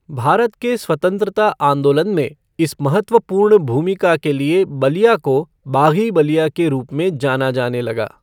भारत के स्वतंत्रता आंदोलन में इस महत्वपूर्ण भूमिका के लिए बलिया को बाग़ी बलिया के रूप में जाना जाने लगा।